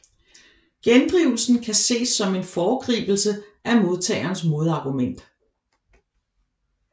Gendrivelsen kan ses som en foregribelse af modtagerens modargument